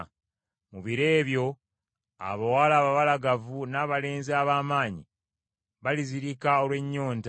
“Mu biro ebyo, “abawala ababalagavu n’abalenzi ab’amaanyi balizirika olw’ennyonta.